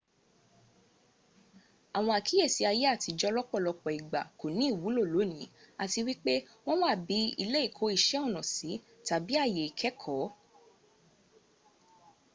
àwọn àkíyèsí ayé àtijó lọ́pòlọpọ̀ ìgbà kò ní ìwúlò lónìí àti wípé wọn wà bi ilé ìkó iṣẹ́ ọnà sí tàbí àyè ikẹẹ̀kọ.